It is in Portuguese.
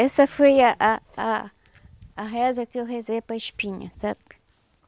Essa foi a a a reza que eu rezei para a espinha, sabe?